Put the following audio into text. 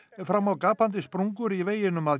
fram á gapandi sprungur í veginum að